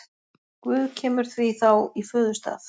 Guð kemur því þá í föðurstað.